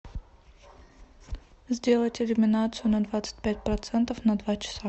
сделать иллюминацию на двадцать пять процентов на два часа